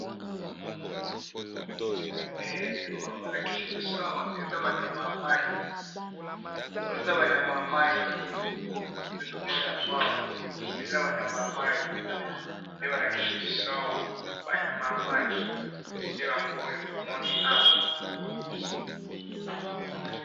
he balakisi biso eza ba nyama yamayi nde balakisi biso awa ba nyama ya mayi nde yangoyo balakisi biso awa.